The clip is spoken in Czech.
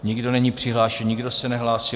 Nikdo není přihlášen, nikdo se nehlásí.